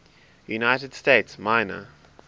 united states minor